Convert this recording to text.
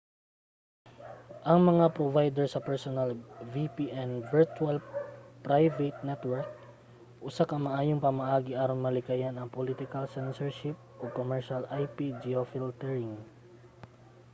ang mga provider sa personal vpn virtual private network usa ka maayong pamaagi aron malikayan ang political censorship ug commercial ip-geofiltering